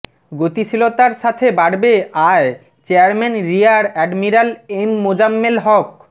গতিশীলতার সাথে বাড়বে আয় chairman rear admiral M Mozammel হক